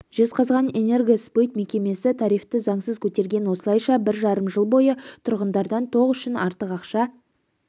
жезқазған энергосбыт мекемесі тарифті заңсыз көтерген осылайша бір жарым жыл бойы тұрғындардан тоқ үшін артық ақша